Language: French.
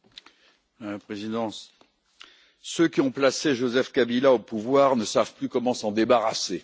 Madame la Présidente, ceux qui ont placé Joseph Kabila au pouvoir ne savent plus comment s'en débarrasser.